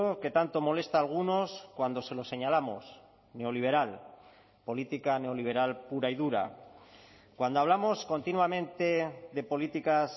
que tanto molesta a algunos cuando se lo señalamos neoliberal política neoliberal pura y dura cuando hablamos continuamente de políticas